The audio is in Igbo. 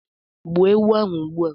gbuo ewu ahu ugbua!